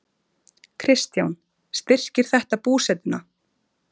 Kristján: Styrkir þetta búsetuna?